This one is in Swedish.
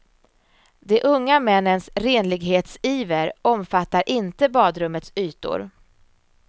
De unga männens renlighetsiver omfattar inte badrummets ytor.